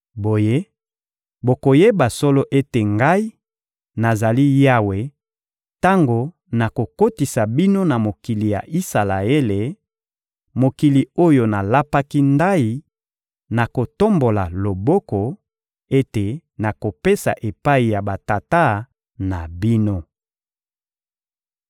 Boye, bokoyeba solo ete Ngai, nazali Yawe tango nakokotisa bino na mokili ya Isalaele, mokili oyo nalapaki ndayi, na kotombola loboko, ete nakopesa epai ya batata na bino.